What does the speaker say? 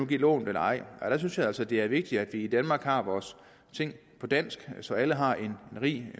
give lån eller ej der synes jeg altså at det er vigtigt at vi i danmark har vores ting på dansk så alle har en